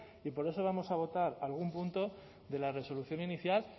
y por eso vamos a votar algún punto de la resolución inicial